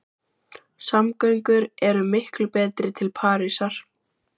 Samgöngur eru miklu betri til Parísar.